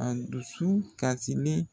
A dusu kasilen